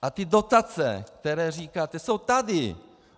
A ty dotace, které říkáte, jsou tady.